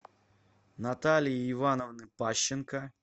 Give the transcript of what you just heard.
наталии ивановны пащенко